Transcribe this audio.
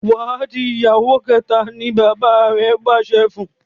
Wá dì ìyàwó kéta! ní bàbá rẹ pàṣẹ fún.